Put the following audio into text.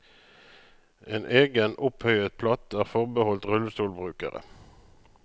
En egen opphøyet platt er forbeholdt rullestolbrukere.